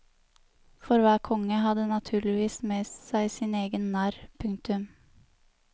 For hver konge hadde naturligvis med seg sin egen narr. punktum